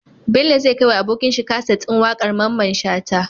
Bello zai kai wa abokin shi kaset din waƙar mamman shata